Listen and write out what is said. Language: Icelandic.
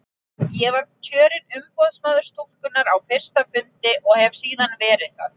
Ég var kjörinn umboðsmaður stúkunnar á fyrsta fundi hennar og hef verið það síðan.